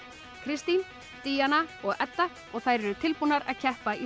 Kristín Díana og Edda og þær eru tilbúnar að keppa í